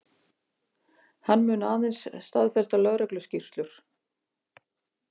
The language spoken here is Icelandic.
Hann mun aðeins staðfesta lögregluskýrslur